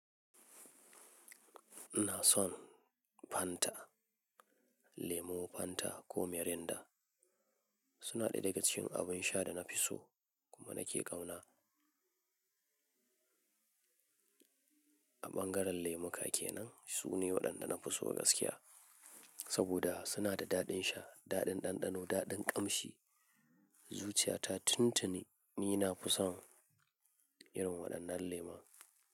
Ina son Fanta, lemu Fanta ko Miranda. Su na ɗaya daga cikin abun sha da na fi so kuma na ke kauna. A ɓangaren lemuka kenan, su ne waɗanda na fi so gaskiya saboda su na da daɗin sha, daɗin ɗanɗano, daɗin ƙamshi. Zuciya ta tuntuni ni na fi son irin waɗannan lemun.